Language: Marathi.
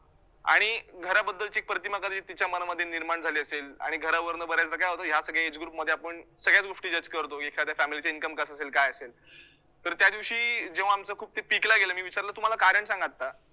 आणि घराबद्दलची प्रतिमा कदाचित तिच्या मनामध्ये निर्माण झाली असेल आणि घरावरनं बऱ्याचदा काय होतं, या सगळ्या age group मध्ये आपण सगळ्याचं गोष्टी judge करतो एखाद्या family च income कसं असेल? काय असेल? तर त्यादिवशी जेव्हा आमचं खूप ला गेलं, मी विचारलं, तु मला कारण सांग ना आता